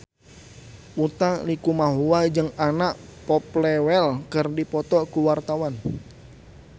Utha Likumahua jeung Anna Popplewell keur dipoto ku wartawan